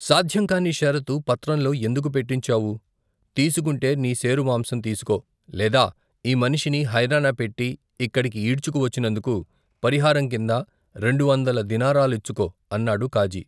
సాధ్యంకాని షరతు పత్రంలో ఎందుకు పెట్టించావు తీసుకుంటే నీ శేరు మాంసం తీసుకో లేదా ఈ మనిషిని హైరానాపెట్టి ఇక్కడికి ఈడ్చుకు వచ్చినందుకు, పరిహారం కింద రెండు వందల దినారాలిచ్చుకో అన్నాడు కాజీ.